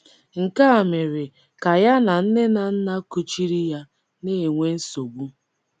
Nke a mere ka ya na nne na nna kuchiri ya na - enwe nsogbu.